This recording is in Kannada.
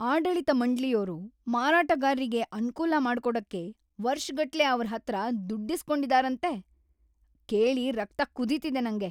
ಆಡಳಿತ ಮಂಡ್ಳಿಯೋರು ಮಾರಾಟಗಾರ್ರಿಗೆ ಅನ್ಕೂಲ ಮಾಡ್ಕೊಡಕ್ಕೆ ವರ್ಷಗಟ್ಲೆ ಅವ್ರ್ ಹತ್ರ‌ ದುಡ್ಡಿಸ್ಕೊಂಡಿದಾರಂತೆ, ಕೇಳಿ ರಕ್ತ ಕುದೀತಿದೆ ನಂಗೆ.